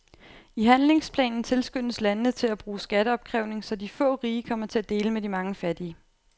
I handlingsplanen tilskyndes landene til at bruge skatteopkrævning, så de få rige kommer til at dele med de mange fattige.